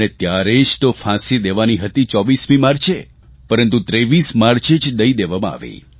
અને ત્યારે જ તો ફાંસી દેવાની હતી તો 24 માર્ચે પરંતુ 23 માર્ચે જ દઇ દેવામાં આવી